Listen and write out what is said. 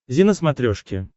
зи на смотрешке